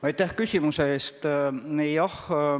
Aitäh küsimuse eest!